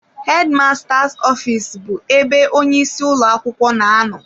Head masters office bụ ebe onye isi ụlọ akwụkwọ na-anọ.